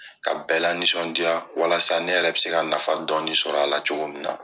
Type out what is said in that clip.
Ka bɛɛ lanisɔndiya walasa ne yɛrɛ bɛ se ka nafa dɔɔni sɔrɔ a la cogo min na.